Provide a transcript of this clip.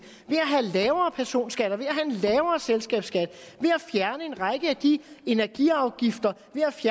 ved at have lavere personskatter ved at have en lavere selskabsskat ved at fjerne en række af de energiafgifter